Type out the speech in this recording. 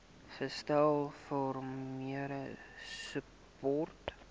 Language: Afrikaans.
gestel farmer support